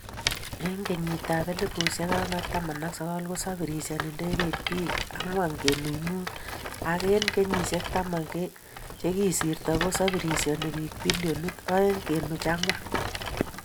Eng kenyit ap 2019 kosafirishan ndegeit bik 4.5,ak eng kenyishek taman chekisirto ko safirishan bik bilion 2.4